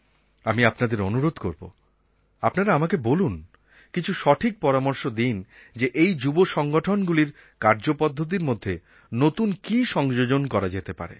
আমি আপনাদের অনুরোধ করব আপনারা আমাকে বলুন কিছু সঠিক পরামর্শ দিন যে এই যুব সংগঠনগুলির কার্যপদ্ধতির মধ্যে নতুন কী সংযোজন করা যেতে পারে